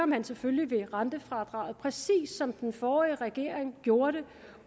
man selvfølgelig ved rentefradraget præcis som den forrige regering gjorde det